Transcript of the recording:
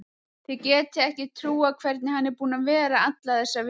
Þið getið ekki trúað hvernig hann er búinn að vera alla þessa viku.